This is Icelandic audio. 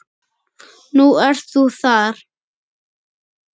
Nú ert þú þar.